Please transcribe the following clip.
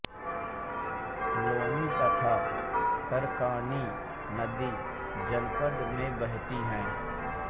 लोनी तथा सरकनी नदी जनपद में बहती है